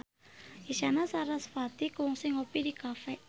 Isyana Sarasvati kungsi ngopi di cafe